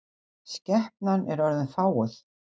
Skepnan er orðin fáguð.